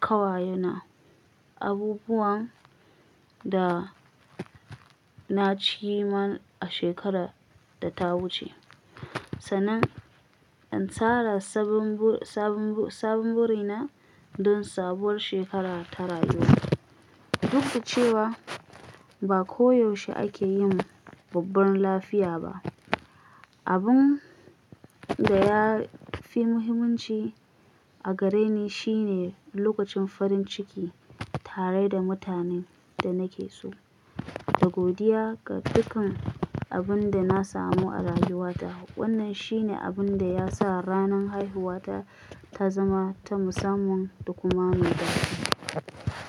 ƙawayena abubuwan da na ci man a shekarar da ta wuce, sannan in tsara sabbin burina don sabuwar shekara ta rayuwa. Duk da cewa ba koyaushe ake yin babban lafiya ba, abin da ya fi muhimmanci a gare ni shine lokacin farin ciki tare da mutanen da nake so da godiya ga dukkan abin da na samu a rayuwata. Wannan shine abin da ya sa ranar haihuwata ta zama ta musamman da kuma mai dadi.